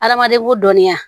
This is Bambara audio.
Adamaden ko dɔnniya